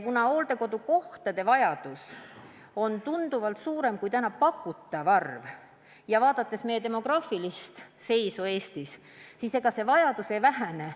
Hooldekodukohtade vajadus on paraku tunduvalt suurem kui nende arv ja vaadates meie demograafilist seisu, on selge, et ega see vajadus ei vähene.